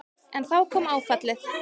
En þá kom áfallið.